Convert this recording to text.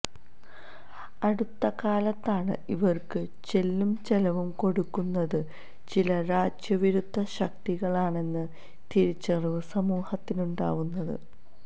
അടുത്തകാലത്താണ് ഇവര്ക്ക് ചെല്ലും ചെലവും കൊടുക്കുന്നത് ചില രാജ്യവിരുദ്ധ ശക്തികളാണെന്ന തിരിച്ചറിവ് സമൂഹത്തിനുണ്ടാവുന്നത്